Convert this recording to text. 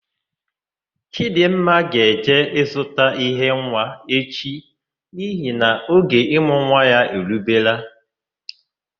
Chidịmma ga-eje ịzụta ihe nwa echi nihi na oge ịmụ nwa ya erubela.